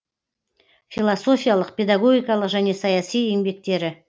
философиялық педагогикалық және саяси еңбектері